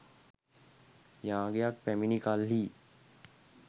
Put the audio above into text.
යාගයක් පැමිණි කල්හී